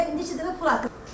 Neçə dəfə pul atıb?